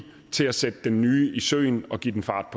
til at sætte den nye i søen og give den fart